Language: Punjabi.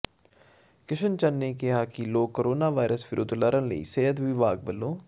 ਕਿਸ਼ਨ ਚੰਦ ਨੇ ਕਿਹਾ ਕਿ ਲੋਕ ਕੋਰੋਨਾ ਵਾਇਰਸ ਵਿਰੁੱਧ ਲੜਣ ਲਈ ਸਿਹਤ ਵਿਭਾਗ ਵਲੋਂ